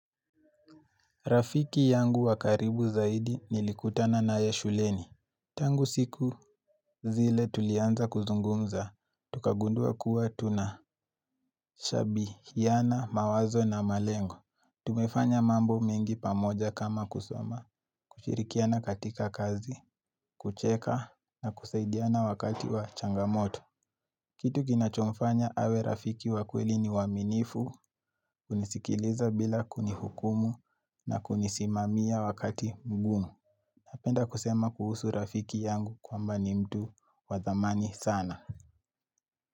Rafiki yangu wakaribu zaidi nilikutana naye shuleni. Tangu siku zile tulianza kuzungumza, tukagundua kuwa tuna shabihiyana, mawazo na malengo. Tumefanya mambo mengi pamoja kama kusoma, kushirikiana katika kazi, kucheka na kusaidiana wakati wa changamoto. Kitu kina chomfanya awe rafiki wakweli ni waaminifu, kunisikiliza bila kunihukumu na kunisimamia wakati mgumu. Napenda kusema kuhusu rafiki yangu kwamba ni mtu wadhamani sana.